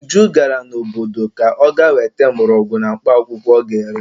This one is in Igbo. Uju gara n'obodo ka ọ ga-weta mgborogwu na mkpaakwụkwọ ọ ga-ere.